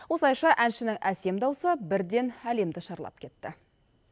осылайша әншінің әсем дауысы бірден әлемді шарлап кетті